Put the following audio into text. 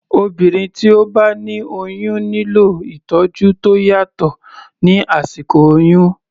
Obìnrin tí ó bá ní oyún nílò ìtọ́jú tó yàtọ̀ ní àsìkò oyún.